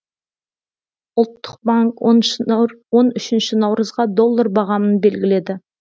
ұлттық банк он үшінші наурызға доллар бағамын белгіледі